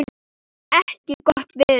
ekki gott veður.